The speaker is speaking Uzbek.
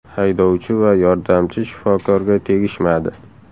Haydovchi va yordamchi shifokorga tegishmadi.